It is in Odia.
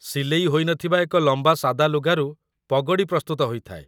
ସିଲେଇ ହୋଇନଥିବା ଏକ ଲମ୍ବା ସାଦା ଲୁଗାରୁ ପଗଡ଼ି ପ୍ରସ୍ତୁତ ହୋଇଥାଏ